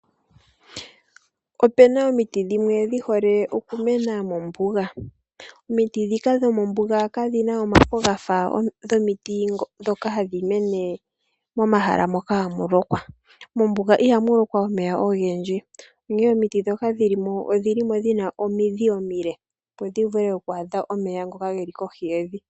Opuna omiti dhimwe dhihole okumena mombuga. Omiti ndhoka kadhi na omafo gafa gomiti ndhoka hadhi mene pomahala mpoka hapu lokwa. Mombuga ihamu lokwa omeya ogendji onkene omiti ndhoka dhili mo odhina omidhi omile opo dhi vule okwaadha omeya kohi yevi.